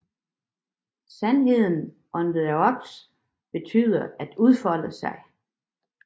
Sandheden om the Others begynder at udfolde sig